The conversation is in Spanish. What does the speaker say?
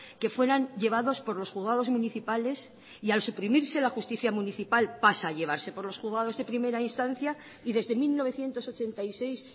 que fueran llevados por los juzgados municipales y al suprimirse la justicia municipal pasa llevarse por los juzgados de primera instancia y desde mil novecientos ochenta y seis